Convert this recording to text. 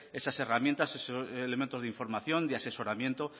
esas herramientas esos elementos de información de asesoramiento